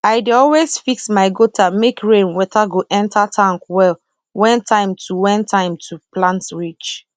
i dey always fix my gutter make rain water go enter tank well when time to when time to plant reach